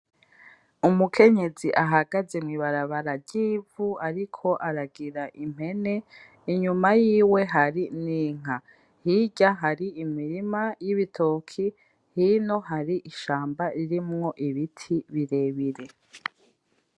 Umukenyezi ahagaze mw’ ibarabara ry’ivu ariko aragira impene inyuma yiwe hari n’inka hirya hari imirima y’ibitoki hino hari ishamba ririmwo ibiti birebire.